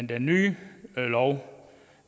den nye lov